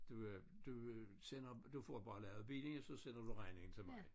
Du øh du øh sender du får bare lavet bilen så sender du regningen til mig